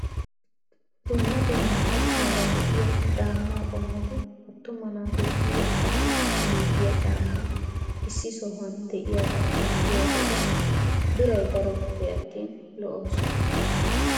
Dumma dumma qottaara de'iyaa caammaa qomoti attuma naatussi wottanaw giigiyaa caammay issi sohuwaan de'iyaagaa xeelliyo wode biray daroppe attin lo"oosona!